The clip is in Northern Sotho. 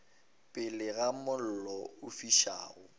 pele ga mollo o fišago